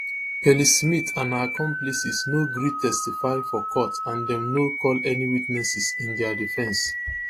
kelly smith and her accomplices no gree testify for court and dem no call any witnesses in dia defence